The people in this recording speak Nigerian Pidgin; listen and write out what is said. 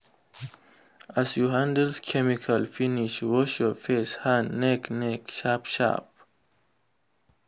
as you handle chemical finish wash your face hand neck neck sharp sharp.